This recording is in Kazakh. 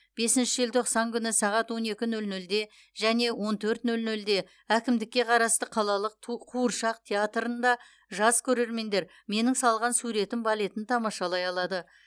бесінші желтоқсан күні сағат он екі нөл нөлде және он төрт нөл нөлде әкімдікке қарасты қалалық ту қуыршақ театрында жас көрермендер менің салған суретім балетін тамашалай алады